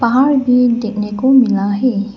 पहाड़ व्यू देखने को मिला है।